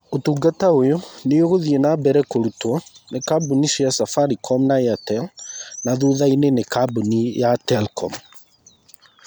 Ũtungata ũyũ nĩ ũgũthiĩ na mbere kũrutwo nĩ kambuni cia Safaricom na Airtel, na thutha-inĩ nĩ kambuni ya Telcom.